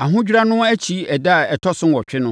Ahodwira no akyi ɛda a ɛtɔ so nwɔtwe no,